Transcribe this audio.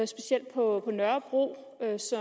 specielt på nørrebro